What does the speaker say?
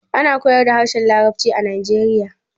Ana koyar da harshen larabci a najeriya